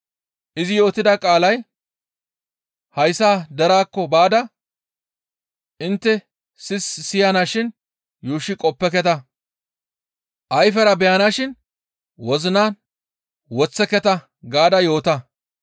Izi yootida qaalay, « ‹Hayssa deraakko baada intte sis siyanashin yuushshi qoppeketa, ayfera beyanashin wozinan woththeketa gaada yoota.